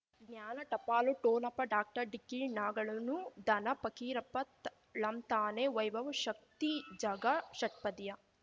ಜ್ಞಾನ ಟಪಾಲು ಠೊಣಪ ಡಾಕ್ಟರ್ ಢಿಕ್ಕಿ ಣಗಳನು ಧನ ಫಕೀರಪ್ಪ ಳಂತಾನೆ ವೈಭವ್ ಶಕ್ತಿ ಝಗಾ ಷಟ್ಪದಿಯ